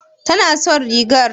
Tana son rigar?